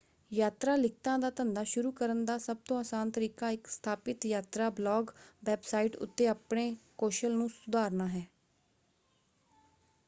ਯਾਤਰਾ ਲਿਖਤਾਂ ਦਾ ਧੰਦਾ ਸ਼ੁਰੂ ਕਰਨ ਦਾ ਸਭਤੋਂ ਆਸਾਨ ਤਰੀਕਾ ਇਕ ਸਥਾਪਿਤ ਯਾਤਰਾ ਬਲਾਗ ਵੈਬਸਾਈਟ ਉੱਤੇ ਆਪਣੇ ਕੌਸ਼ਲ ਨੂੰ ਸੁਧਾਰਨਾ ਹੈ।